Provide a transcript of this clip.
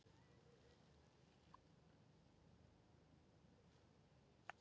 hann hafði tvö andlit og leit eitt áfram en hitt aftur